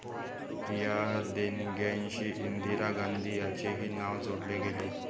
या देणग्यांशी इंदिरा गांधी यांचेही नाव जोडले गेले.